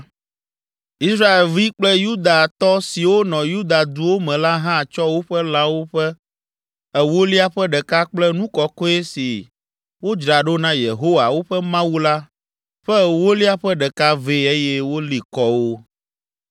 Israelvi kple Yudatɔ siwo nɔ Yuda duwo me la hã tsɔ woƒe lãwo ƒe ewolia ƒe ɖeka kple nu kɔkɔe si wodzra ɖo na Yehowa, woƒe Mawu la ƒe ewolia ƒe ɖeka vɛ eye woli kɔ wo.